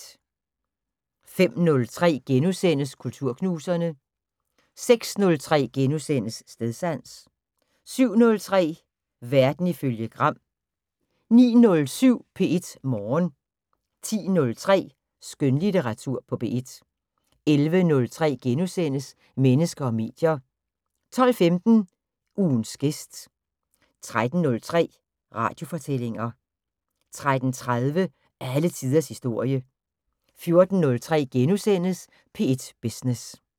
05:03: Kulturknuserne * 06:03: Stedsans * 07:03: Verden ifølge Gram 09:07: P1 Morgen 10:03: Skønlitteratur på P1 11:03: Mennesker og medier * 12:15: Ugens gæst 13:03: Radiofortællinger 13:30: Alle tiders historie 14:03: P1 Business *